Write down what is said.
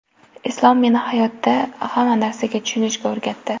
Islom meni hayotda hamma narsaga tushunishga o‘rgatdi.